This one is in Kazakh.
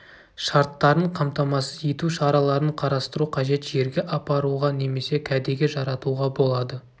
шарттарын қамтамасыз ету шараларын қарастыру қажет жерге апаруға немесе кәдеге жаратуға болады